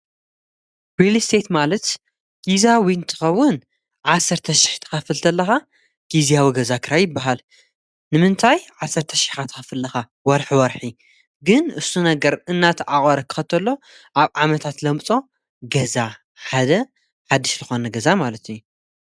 ሪሊስተት ማለት ግዝያዊ እንትኸውን ዓሠርተሽሕ ክትኸፍል ተለካ ግዝያዊ ገዛ ክራይ ይበሃል ንምንታይ ዓሠርተሽሕ ኢካ ትከፍል ዘለካ ወርሕ ወርሕ ግን እሱ ነገር እናዳታዓቆረ ክኸተሎ ኣብ ዓመታት ለምጾ ገዛ ሓደ ሓድሽ ዝኮ ነ ገዛ ማለት እዩ።